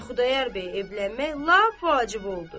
Və Xudayar bəy evlənmək lap vacib oldu.